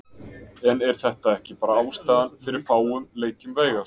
En er þetta ekki bara ástæðan fyrir fáum leikjum Veigars?